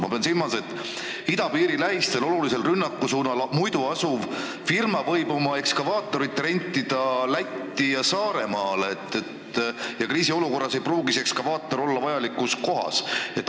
Ma pean silmas, et idapiiri lähistel, olulisel rünnakusuunal asuv firma võib oma ekskavaatorit rentida Lätti või Saaremaale ning kriisiolukorras ei pruugi see ekskavaator olla vajalikus kohas.